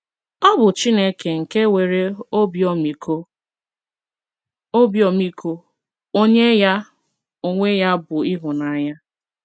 Ọ bụ Chineke nke nwere “ obi ọmịiko, obi ọmịiko, ” onye ya onwe ya bụ ịhụnanya.